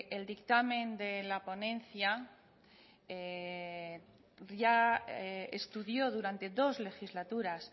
el dictamen de la ponencia ya estudió durante dos legislaturas